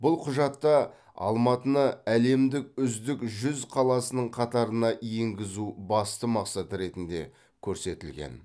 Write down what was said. бұл құжатта алматыны әлемдік үздік жүз қаласының қатарына енгізу басты мақсат ретінде көрсетілген